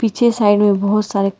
पीछे साइड में बहुत सारे--